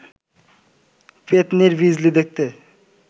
পেত্নির বিজলি দেখতে